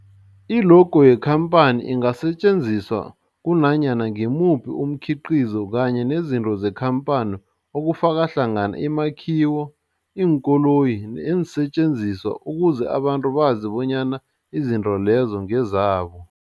I-logo yekhamphani ingasetjenziswa kunanyana ngimuphi umkhiqizo kanye nezinto zekhamphani okufaka hlangana imakhiwo, iinkoloyi neensentjenziswa ukuze abantu bazi bonyana izinto lezo ngezabo.